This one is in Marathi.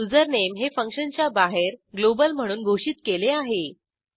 कारण युझरनेम हे फंक्शनच्या बाहेर ग्लोबल म्हणून घोषित केले आहे